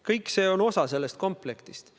Kõik see on osa sellest kompleksist.